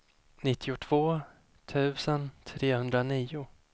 nittiotvå tusen trehundranio